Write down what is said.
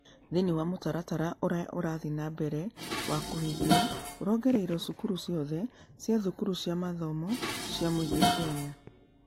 Thĩinĩ wa mũtaratara ũrĩa ũrathiĩ na mbere wa kũhingia, ũrongoreirio cukuru ciothe cia thukuru cia mathomo cia mũingĩ Kenya.